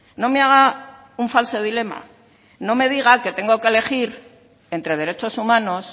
no me haga un falso dilema no me diga que tengo elegir entre derechos humanos